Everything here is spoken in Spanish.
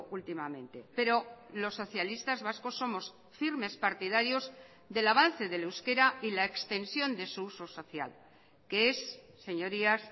últimamente pero los socialistas vascos somos firmes partidarios del avance del euskera y la extensión de su uso social que es señorías